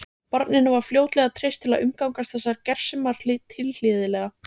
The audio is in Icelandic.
Barninu var fljótlega treyst til að umgangast þessar gersemar tilhlýðilega.